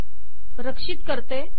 रक्षित करते